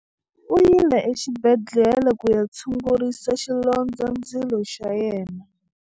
U yile exibedhlele ku ya tshungurisa xilondzandzilo xa yena.